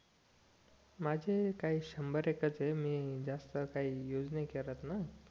माझे शंबर एकच आहेत मी जास्त काही युस नाही करत ना